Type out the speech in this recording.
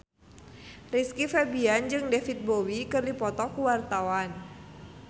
Rizky Febian jeung David Bowie keur dipoto ku wartawan